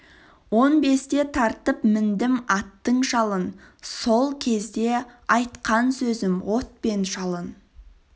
он бесте тартып міндім аттың жалын сол кезде айтқан сөзім от пен жалын